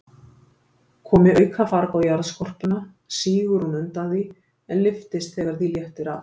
Komi aukafarg á jarðskorpuna, sígur hún undan því, en lyftist þegar því léttir af.